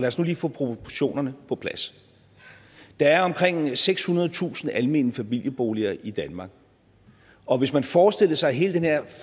os nu lige få proportionerne på plads der er omkring sekshundredetusind almene familieboliger i danmark og hvis man forestillede sig at hele den her